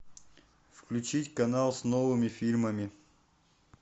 включить канал с новыми фильмами